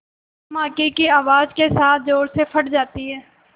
धमाके की आवाज़ के साथ ज़ोर से फट जाती है